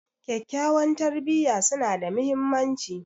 Kyakkyawan tarbiyya suna da mahimmanci.